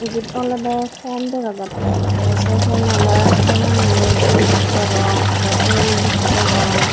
ebet olode pen dega jatte te say penani dup degong aro el dokkey degong.